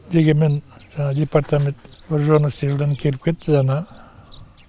дегенмен департамент вооруженный силдан келіп кетті жаңа